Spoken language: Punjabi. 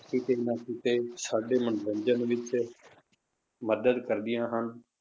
ਕਿਤੇ ਨਾ ਕਿਤੇ ਸਾਡੇ ਮਨੋਰੰਜਨ ਵਿੱਚ ਮਦਦ ਕਰਦੀਆਂ ਹਨ।